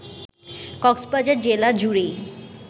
কক্সবাজার জেলা জুড়েই